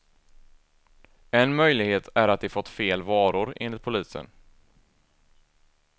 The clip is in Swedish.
En möjlighet är att de fått fel varor, enligt polisen.